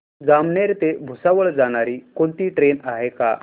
जामनेर ते भुसावळ जाणारी कोणती ट्रेन आहे का